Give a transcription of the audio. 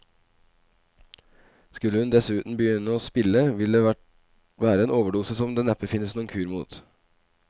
Skulle hun dessuten begynne å spille, ville det være en overdose som det neppe finnes noen kur mot.